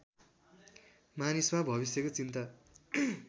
मानिसमा भविष्यको चिन्ता